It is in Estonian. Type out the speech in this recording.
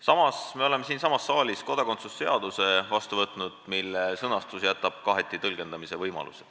Samas me oleme siinsamas saalis vastu võtnud kodakondsuse seaduse, mille sõnastus jätab kaheti tõlgendamise võimaluse.